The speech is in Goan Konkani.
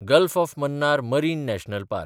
gulf of Mannar Marine National park